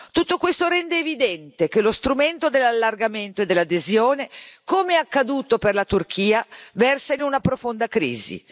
Tutto questo rende evidente che lo strumento dell'allargamento e dell'adesione, come accaduto per la Turchia, versa in una profonda crisi.